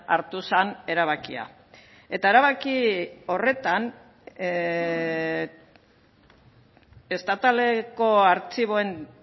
hartu zen erabakia eta erabaki horretan estataleko artxiboen